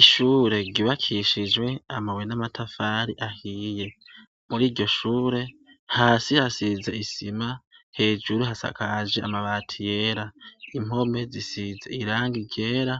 Ishure ryubakishijwe amabuye n'amatafari ahiye muri iryoshure hasi hasize isima hejuru hasakaje amabati yera impome zisize irangi ryera